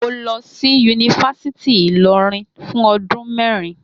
Mo lọ sí Yunifásítì Ìlọrin fún ọdún mẹ́rin